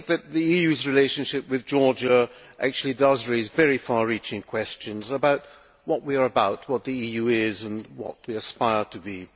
The EU's relationship with Georgia does raise very far reaching questions about what we are about, what the EU is, and what we aspire to be.